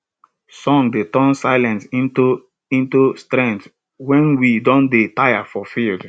songs dey turn silence into into strength wen we don dey tire for field